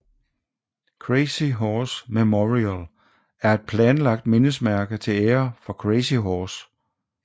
Crazy Horse Memorial er et planlagt mindesmærke til ære for Crazy Horse